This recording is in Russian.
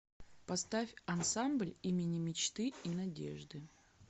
поставь ансамбль имени мечты и надежды